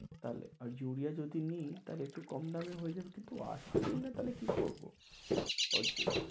তাহলে আর ইউরিয়া যদি নিই তাহলে একটু কম দাম এ হয়ে যাবে কিন্তু আসছেই না তাহলে কি করবো?